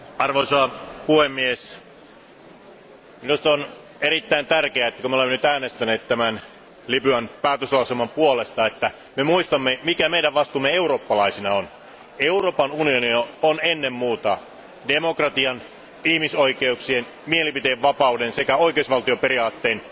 Arvoisa puhemies, minusta on erittäin tärkeää, että kun me olemme nyt äänestäneet Libyaa koskevan päätöslauselman puolesta, me muistamme, mikä meidän vastuumme eurooppalaisina on. Euroopan unioni on ennen muuta demokratian, ihmisoikeuksien, mielipiteenvapauden sekä oikeusvaltioperiaatteen